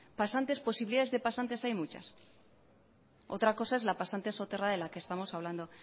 posibilidades de pasantes hay muchas otra cosa es la pasante soterrada de la que estamos hablando